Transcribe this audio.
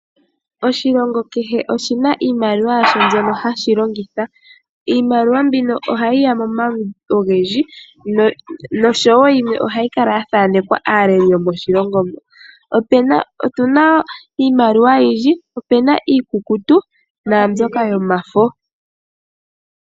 Oshilongo kehe oahima iimaliwa yasho mbyono hashi longitha .iimaliwa mbino ohayiya momaludhi ogendji noshowo yimwe ohayi kala yathanekwa aaleli yomoshilongo moka. Opena iimaliwa oyindji naambyoka yomafo.